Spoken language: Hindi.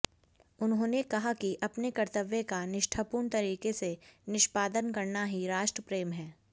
उन्होंने कहा कि अपने कर्तव्य का निष्ठापूर्ण तरीके से निष्पादन करना ही राष्ट्रप्रेम है